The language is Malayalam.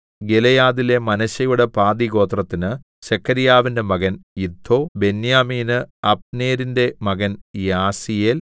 ഗിലെയാദിലെ മനശ്ശെയുടെ പാതിഗോത്രത്തിന് സെഖര്യാവിന്റെ മകൻ യിദ്ദോ ബെന്യാമീന് അബ്നേരിന്റെ മകൻ യാസീയേൽ